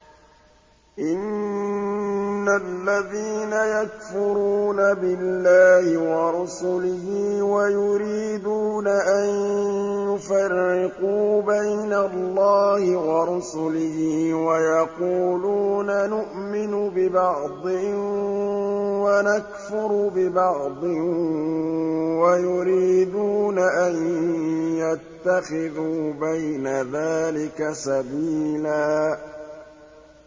إِنَّ الَّذِينَ يَكْفُرُونَ بِاللَّهِ وَرُسُلِهِ وَيُرِيدُونَ أَن يُفَرِّقُوا بَيْنَ اللَّهِ وَرُسُلِهِ وَيَقُولُونَ نُؤْمِنُ بِبَعْضٍ وَنَكْفُرُ بِبَعْضٍ وَيُرِيدُونَ أَن يَتَّخِذُوا بَيْنَ ذَٰلِكَ سَبِيلًا